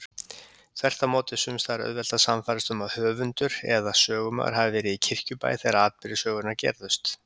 Þvert á móti er sums staðar auðvelt að sannfærast um að höfundur eða sögumaður hafi verið í Kirkjubæ þegar atburðir sögunnar gerðust.